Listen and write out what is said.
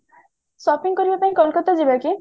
shopping କରିବା ପାଇଁ କୋଲକତା ଯିବାକି